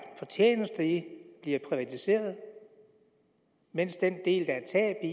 fortjeneste i bliver privatiseret mens den del der er tab i